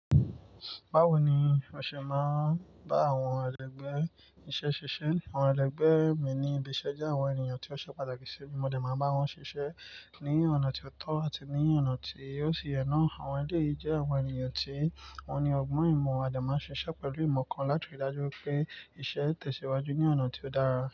Bawo ni o ṣe máa ń bá àwọn ẹlẹgbẹ́ iṣẹ́ ṣiṣẹ́? Àwọn ẹlẹgbẹ́ mi ní ibi iṣẹ́ jẹ́ àwọn ènìyàn tí ó ṣe pàtàkì ṣi mi, mo de máa ń bá wọn ṣiṣẹ́ ní ọ̀nà tí ó tọ́ àti ní ọ̀nà tí ó sì yẹ́ naà. Àwọn ẹlẹ́yìí jẹ́ àwọn ènìyàn tí wọ́n ní ọgbọ́n ìmọ̀, a de máa ń ṣiṣẹ́ pẹ̀lú ìmọ̀ kan láti rí dájú wipé iṣẹ́ n tẹ̀síwájú ní ọ̀nà tí ó dára.